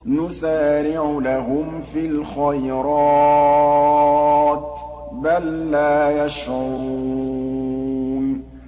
نُسَارِعُ لَهُمْ فِي الْخَيْرَاتِ ۚ بَل لَّا يَشْعُرُونَ